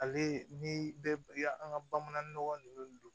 Ale ni bɛ an ka bamanan nɔgɔ ninnu